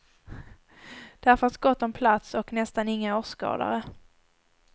Där fanns gott om plats och nästan inga åskådare.